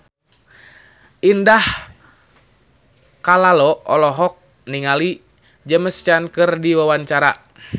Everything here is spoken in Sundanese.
Indah Kalalo olohok ningali James Caan keur diwawancara